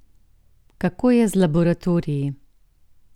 Kako je z laboratoriji?